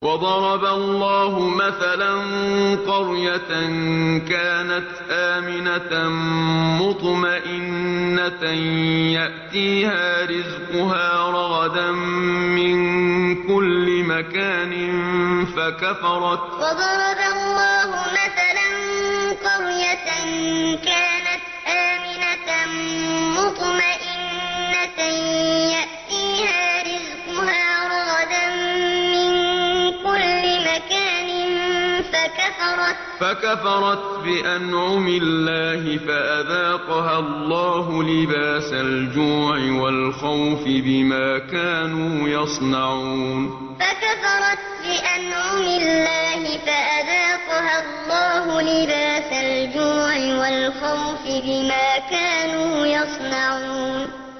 وَضَرَبَ اللَّهُ مَثَلًا قَرْيَةً كَانَتْ آمِنَةً مُّطْمَئِنَّةً يَأْتِيهَا رِزْقُهَا رَغَدًا مِّن كُلِّ مَكَانٍ فَكَفَرَتْ بِأَنْعُمِ اللَّهِ فَأَذَاقَهَا اللَّهُ لِبَاسَ الْجُوعِ وَالْخَوْفِ بِمَا كَانُوا يَصْنَعُونَ وَضَرَبَ اللَّهُ مَثَلًا قَرْيَةً كَانَتْ آمِنَةً مُّطْمَئِنَّةً يَأْتِيهَا رِزْقُهَا رَغَدًا مِّن كُلِّ مَكَانٍ فَكَفَرَتْ بِأَنْعُمِ اللَّهِ فَأَذَاقَهَا اللَّهُ لِبَاسَ الْجُوعِ وَالْخَوْفِ بِمَا كَانُوا يَصْنَعُونَ